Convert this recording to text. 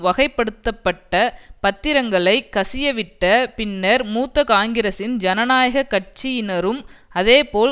வகைப்படுத்தப்பட்ட பத்திரங்களை கசியவிட்ட பின்னர் மூத்த காங்கிரசின் ஜனநாயக கட்சியினரும் அதேபோல